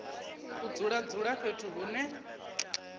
u dzula dzula fhethu hune